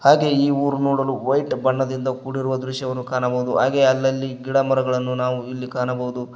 ಹಾಗೆ ಈ ಉರ್ ನೋಡಲು ವೈಟ್ ಬಣ್ಣದಿಂದ ಕೂಡಿರುವ ದೃಶ್ಯವನ್ನು ಕಾಣಬೌದು ಹಾಗೆ ಅಲ್ಲಲ್ಲಿ ಗಿಡ ಮರಗಳನ್ನು ನಾವು ಇಲ್ಲಿ ಕಾಣಬೌದು.